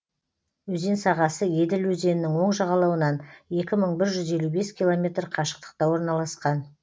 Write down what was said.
өзен сағасы еділ өзенінің оң жағалауынан екі мың бір жүз елу бес километр қашықтықта орналасқан